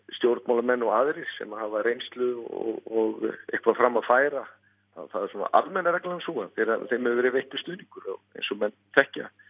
stjórnmálamenn og aðrir sem hafa reynslu og eitthvað fram að færa þá er almenna reglan sú að þeim hefur verið veittur stuðningur eins og menn þekkja